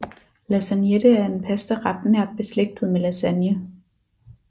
Lasagnette er en pastaret nært beslægtet med lasagne